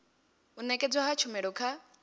u nekedzwa ha tshumelo kha